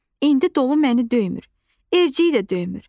İndi dolu məni döymür, evciyi də döymür.